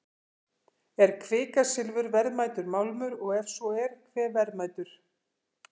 Er kvikasilfur verðmætur málmur og ef svo, hve verðmætur?